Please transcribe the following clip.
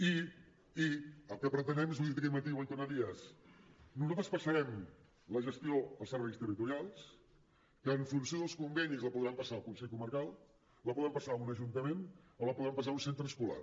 i el que pretenem és ho he dit aquest matí i ho vull tornar a dir nosaltres passarem la gestió als serveis territorials que en funció dels convenis la podran passar al consell comarcal la podran passar a un ajuntament o la podran passar a un centre escolar